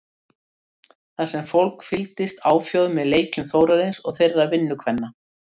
Þar sem fólk fylgdist áfjáð með leikjum Þórarins og þeirra vinnukvenna.